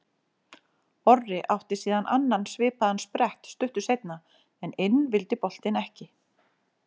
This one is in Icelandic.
Orri átti síðan annan svipaðan sprett stuttu seinna en inn vildi boltinn ekki.